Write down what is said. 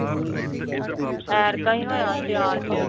ਐਰਕਾਂ ਹੀ ਹੋਇਆ ਸਿਆਲ ਚ।